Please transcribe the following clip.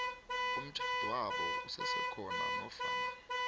umtjhadwabo usesekhona nofana